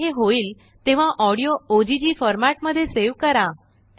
जेव्हा हे होईल तेव्हाऑडियो ओग फॉर्मेट मध्ये सेव करा